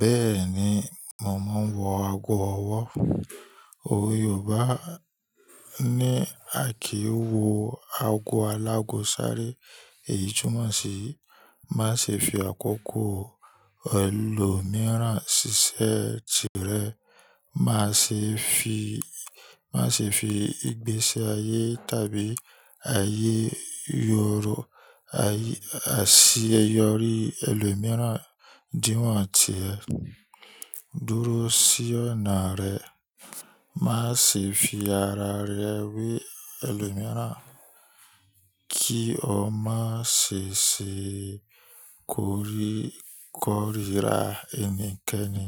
Bẹ́ẹ̀ni, mo máa ń wọ ago ọwọ́. Òwe Yorùbá ní, "Àki wo ago alágóṣàré, èyí túmọ̀ sí má ṣe fi àkókò ẹlòmíràn ṣiṣẹ́ tirẹ̀. Má ṣe fi, má ṣe fi ìgbésí ayé tàbí ayé yoro, àṣeyọrí ẹlòmíràn díwọ̀n tì ẹ. Dúró sí ọ̀nà rẹ. Má ṣe fi ara rẹ wé ẹlòmíràn kí o má ṣe ṣe korí kòrira ẹnikẹ́ni.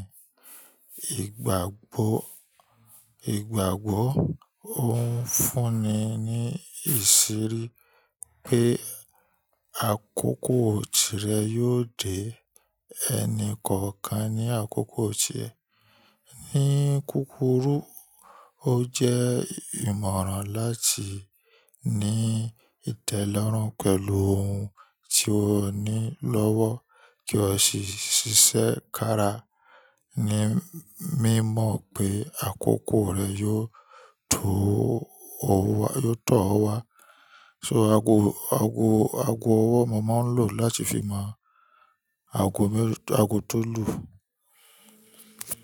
Ìgbàgbọ́, ìgbàgbọ́ ó ń fúnni ní ìṣírí pé àkókò tirẹ̀ yóò dé. Ẹni kọ̀ọ̀kan ní àkókò tirẹ̀. Ni kúkúrú, ó jẹ́ ìmọ̀ràn láti ní ìtẹ́lọ́rùn pẹ̀lú ohun tí o ní lọ́wọ́ kí o sì ṣiṣẹ́ kára ní mímọ̀ pé àkókò rẹ yóò tọ́ ọ wá. So ago, ago, ago ọwọ́ mò máa ń lò láti fi máa ago mélòó, ago tó lù.